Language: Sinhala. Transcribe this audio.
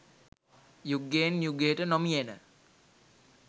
යුගයෙන් යුගයට නොමියෙන